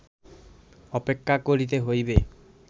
অপেক্ষা করিতে হইবে